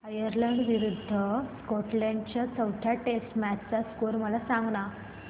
Ireland विरूद्ध Scotland च्या चौथ्या टेस्ट मॅच चा स्कोर मला सांगना